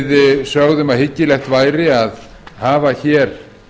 við sögðum að hyggilegt væri að hafa hér